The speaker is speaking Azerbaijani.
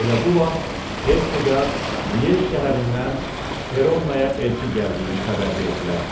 Elə bu vaxt Herseqqa Liej şəhərindən Perronaya elçi gəldiyini xəbər verdilər.